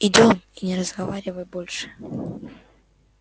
идём и не разговаривай больше